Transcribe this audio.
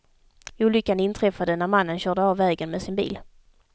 Olyckan inträffade när mannen körde av vägen med sin bil.